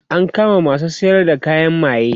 an kama masu sayar da kayan maye